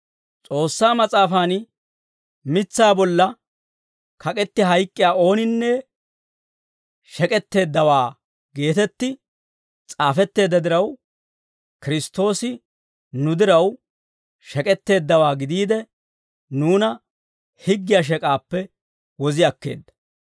S'oossaa Mas'aafan, «Mitsaa bolla kak'etti hayk'k'iyaa ooninne shek'etteeddawaa» geetetti s'aafetteedda diraw, Kiristtoosi nu diraw shek'etteeddawaa gidiide, nuuna higgiyaa shek'aappe wozi akkeedda.